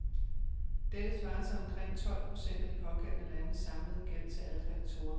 Dette svarer til omkring tolv procent af de pågældende landes samlede gæld til alle kreditorer.